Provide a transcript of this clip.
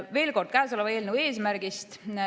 Veel kord käesoleva eelnõu eesmärgist.